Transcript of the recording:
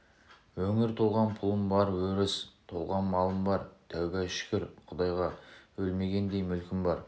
өңір толған пұлым бар өріс толған малым бар тәуба шүкір құдайға өлмегендей мүлкім бар